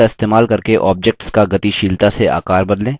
handles का इस्तेमाल करके objects का गतिशीलता से आकार बदलें